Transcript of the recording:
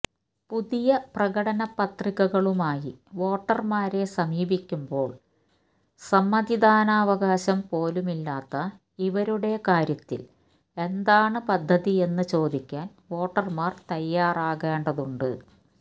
പുതിയ പ്രകടനപത്രികകളുമായി വോട്ടര്മാരെ സമീപിക്കുമ്പോള് സമ്മതിദാനാവകാശം പോലുമില്ലാത്ത ഇവരുടെ കാര്യത്തില് എന്താണ് പദ്ധതിയെന്ന് ചോദിക്കാന് വോട്ടര്മാര് തയ്യാറാകേണ്ടതുണ്ട്